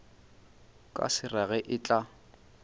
ka se rage e tla